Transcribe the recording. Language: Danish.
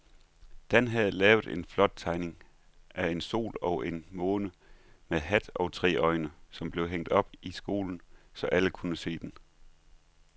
Dan havde lavet en flot tegning af en sol og en måne med hat og tre øjne, som blev hængt op i skolen, så alle kunne se den.